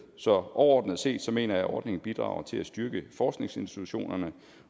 så overordnet set mener jeg at ordningen bidrager til at styrke forskningsinstitutionerne